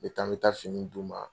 Me bɛ taa, me taa fini d'u ma.